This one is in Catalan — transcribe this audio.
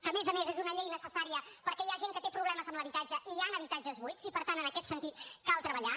a més a més és una llei necessària perquè hi ha gent que té problemes amb l’habitatge i hi ha habitatges buits i per tant en aquest sentit cal treballar